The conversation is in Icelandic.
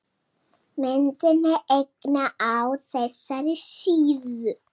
Myndin er einnig af þessari síðu.